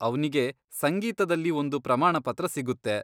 ಅವ್ನಿಗೆ ಸಂಗೀತದಲ್ಲಿ ಒಂದು ಪ್ರಮಾಣಪತ್ರ ಸಿಗುತ್ತೆ.